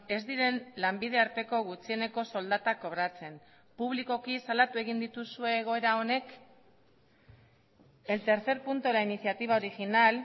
ez diren lanbide arteko gutxieneko soldatak kobratzen publikoki salatu egin dituzue egoera honek el tercer punto de la iniciativa original